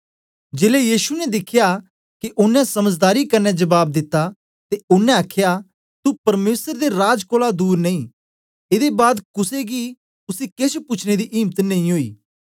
जेलै यीशु ने दिखया के ओनें समझदारी कन्ने जबाब दिता ते ओनें आखया तू परमेसर दे राज कोलां दूर नेई एदे बाद कुसे गी उसी केछ पूछने दी इम्त नेई ओई